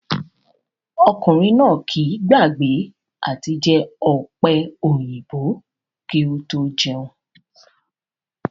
Ọkùnrin náà kìí gbàgbé àti jẹ ọ̀pẹ̀-òyìnbò kí ó tó jẹun